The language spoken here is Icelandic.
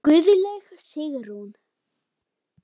Guðlaug Sigrún.